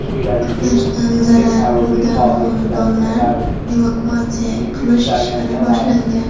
Portlashdan zarar ko‘rgan xonadonlarni evakuatsiya qilish ishlari boshlangan.